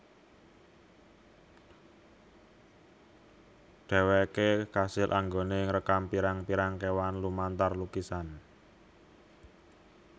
Dheweke kasil anggone ngrekam pirang pirang kewan lumantar lukisan